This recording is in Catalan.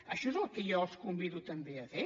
això és el que jo els convido també a fer